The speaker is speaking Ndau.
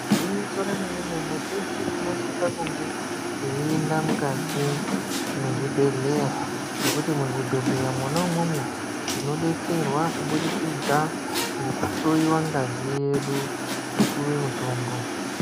Igwinyiso remene mene teshe tinosisa kunge teienda mukati mwezvibhedhleya ngekuti muzvobhedhleya mwona umwomwo tinodetserwa kuburikidza ngekuhloyiwa ngazi yedu topuwa mutombo.